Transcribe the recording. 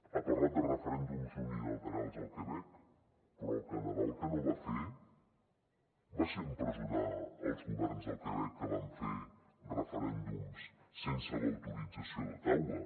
ha parlat de referèndums unilaterals al quebec però el canadà el que no va fer va ser empresonar els governs del quebec que van fer referèndums sense l’autorització d’ottawa